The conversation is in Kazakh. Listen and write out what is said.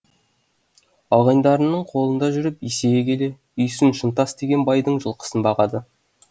ағайындарының қолында жүріп есейе келе үйсін шынтас деген байдың жылқысын бағады